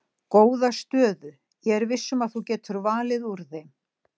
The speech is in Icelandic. Góða stöðu ég er viss um að þú getur valið úr þeim.